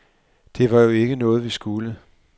Det var jo ikke noget, vi skulle.